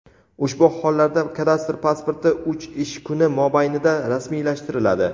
Ushbu hollarda kadastr pasporti uch ish kuni mobaynida rasmiylashtiriladi.